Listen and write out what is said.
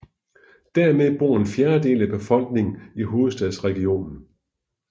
Dermed bor en fjerdedel af befolkningen i hovedstadsregionen